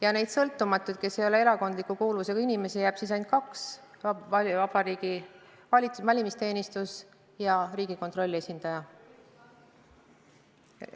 Ja sõltumatuid liikmeid, kes ei ole erakondliku kuuluvusega, on ainult kaks: Vabariigi Valimisteenistuse ja Riigikontrolli esindaja.